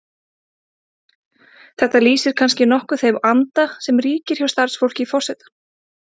Þetta lýsir kannski nokkuð þeim anda sem ríkir hjá starfsfólki forseta.